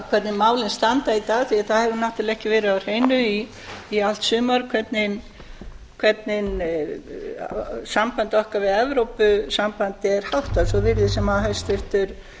hvernig málin standa í dag því að það hefur náttúrlega ekki verið á hreinu í allt sumar hvernig sambandi okkar við evrópusambandið er háttað svo virðist sem hæstvirtur